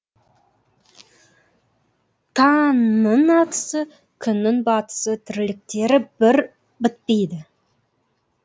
таңның атысы күннің батысы тірліктері бір бітпейді